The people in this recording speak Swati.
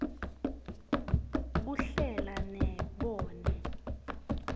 kuhlela ne nobe